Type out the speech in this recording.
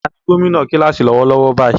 Ta ni gómìnà kíláàsì lọ́wọ́lọ́wọ́ báyìí?